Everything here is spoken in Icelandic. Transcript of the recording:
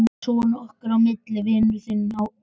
Svona okkar á milli, vinurinn. þá hérna.